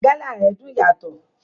Gala rẹ dùn yàtọ̀.